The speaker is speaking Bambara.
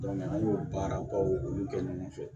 an y'o baarabaw olu kɛ ɲɔgɔn fɛ